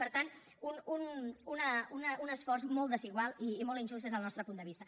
per tant un esforç molt desigual i molt injust des del nostre punt de vista